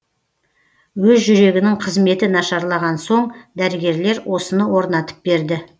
өз жүрегінің қызметі нашарлаған соң дәрігерлер осыны орнатып берді